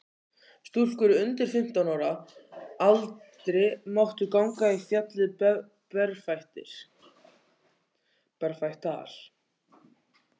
Stúlkur undir fimmtán ára aldri máttu ganga á fjallið berfættar.